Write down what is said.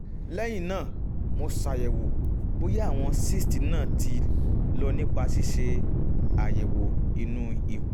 lẹ́yìn náà mo ṣàyẹ̀wò bóyá àwọn cysts náà ti lọ nípa ṣíṣe àyẹ̀wò inú ikùn